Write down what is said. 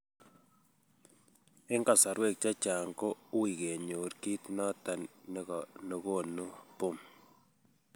en kasarwek chechang koo ui kenyor kit noton nekonu BOOP